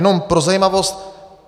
Jenom pro zajímavost.